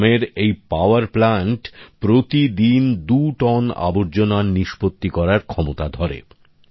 গ্রামের এই power plant প্রতিদিন দু টন আবর্জনা্র বাতিল করার ক্ষমতা রাখে